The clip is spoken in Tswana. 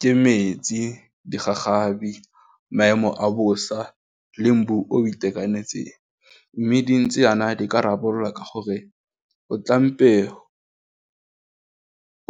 Ke metsi digagabi, maemo a bosa, le mbu o itekanetseng mme dintse yana di ka rarabololwa ka gore o tlampe